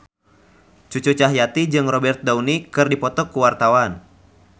Cucu Cahyati jeung Robert Downey keur dipoto ku wartawan